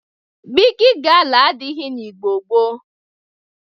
Bịgị gala adịghị na Igbo gboo.